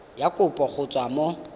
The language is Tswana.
ya kopo go tswa mo